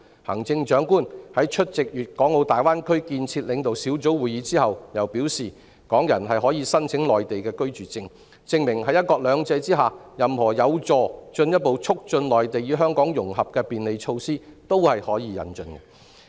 行政長官在出席粵港澳大灣區建設領導小組會議後又表示，港人可以申請內地居住證，證明在"一國兩制"下，任何有助進一步促進內地與香港融合的便利措施也是可以引進的。